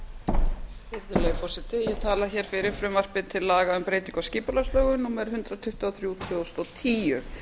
virðulegi forseti ég tala fyrir frumvarpi til laga um breytingu á skipulagslögum númer hundrað tuttugu og þrjú tvö þúsund og tíu